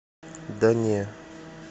да не